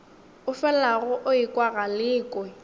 o felago o ekwa galekwe